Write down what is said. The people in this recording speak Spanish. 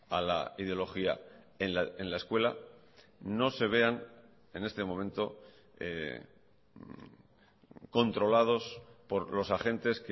a la ideología en la escuela no se vean en este momento controlados por los agentes